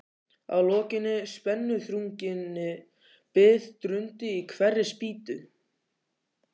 Að lokinni spennuþrunginni bið drundi í hverri spýtu.